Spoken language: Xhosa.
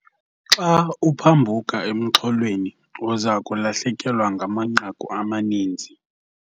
Xa uphambuka emxholweni uza kulahlekelwa ngamanqaku amaninzi.